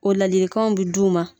O ladilikanw be d'u ma.